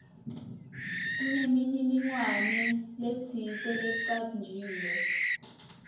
kunemininingwane letsite lecanjiwe